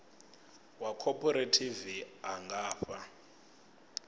wa khophorethivi a nga fha